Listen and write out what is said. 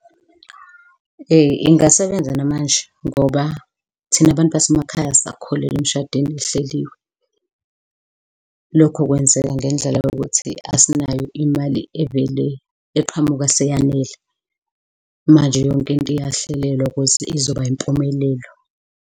Ingasebenza namanje ngoba thina abantu basemakhaya sisakholelwa emishadweni ehleliwe. Lokho kwenzeka ngendlela yokuthi asinayo imali evele eqhamuka seyanele, manje yonkinto iyahlelelwa ukuze izoba yimpumelelo.